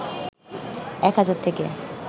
১ হাজার থেকে